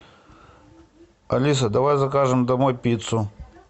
алиса давай закажем домой пиццу